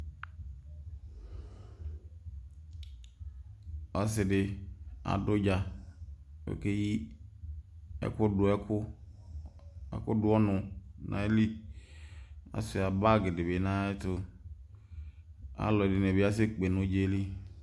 Ɔsi di adu udza Ɔkéyi ɛku ɛku du ɔnu na ayili Ɔsi ayi bag di bi nayɛtu Alɔdini bi asɛ kpé nu udzëli